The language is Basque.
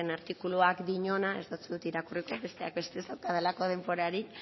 artikuluak diona ez dotzut irakurriko besteak beste ez daukadalako denborarik